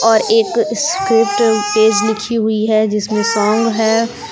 और एक script page लिखी हुई है जिसमें सॉन्ग है।